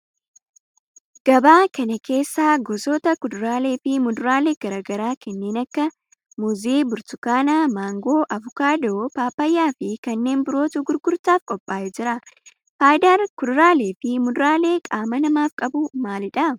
Gabaa kana keessa gosoota kuduraalee fi muduraalee garaa garaa kanneen akka muuzii, burtukaana, maangoo, avokaadoo, paappayyaa fi kanneen birootu gurgurtaaf qophaa'ee jira. Faayidaan kuduraalee fi muduraaleen qaama namaaf qabu maalidha?